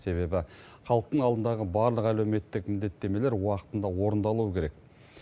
себебі халықтың алдындағы барлық әлеуметтік міндеттемелер уақытында орындалуы керек